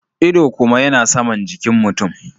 Ido kuma yana Saman jikin mutum.